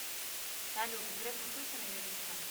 салют греф учился на юриста